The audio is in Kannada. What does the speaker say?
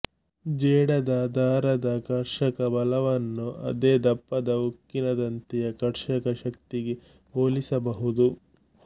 ಜೇಡದ ದಾರದ ಕರ್ಷಕ ಬಲವನ್ನು ಅದೇ ದಪ್ಪದ ಉಕ್ಕಿನ ತಂತಿಯ ಕರ್ಷಕ ಶಕ್ತಿಗೆ ಹೋಲಿಸ ಬಹುದು